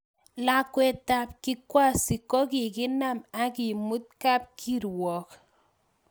Lakwetab Kikwasi kokikakinam akemut kapkirwok